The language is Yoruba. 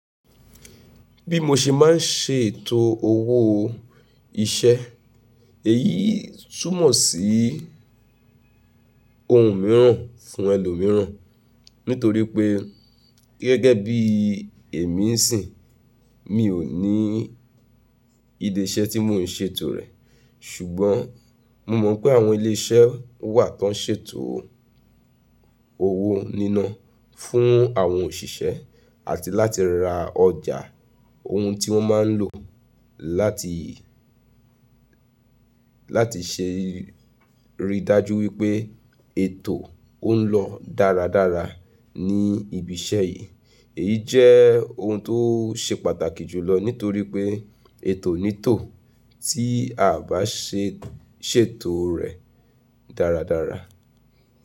Bí mo ṣe máa ń ṣètò owó iṣẹ́, èyí túmọ̀ sí ohun mìíràn fún ẹlòmíràn nítorí pé gẹ́gẹ́ bí èmi ń sìn, mi ò ní ìdí iṣẹ́ tí mò ń ṣètò rẹ̀. Ṣùgbọ́n mo mọ̀ pé àwọn ilé iṣẹ́ wà tó ń ṣètò owó nínà fún àwọn òṣìṣẹ́ àti láti ra ọjà ohun tí wọ́n máa ń lò láti, láti ṣe rí dájú wípé ètò ọ ń lọ dáradára ní ibi iṣẹ́ yìí. Èyí jẹ́ ohun tó ṣe pàtàkì jùlọ nítorí pé ètò ní tò tí a bá ṣe ṣètò rẹ̀ dáradára.